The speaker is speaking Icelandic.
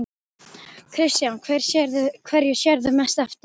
Kristján: Hverju sérðu mest eftir?